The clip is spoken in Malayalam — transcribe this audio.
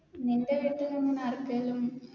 നിൻറെ വീട്ടിലെങ്ങനെ ആർക്കേലും